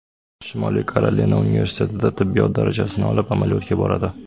Shimoliy Karolina universitetida tibbiyot darajasini olib, amaliyotga boradi.